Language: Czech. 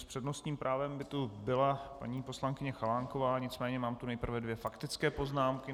S přednostním právem by tu byla paní poslankyně Chalánková, nicméně mám tu nejprve dvě faktické poznámky.